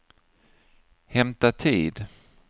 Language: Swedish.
hämta tid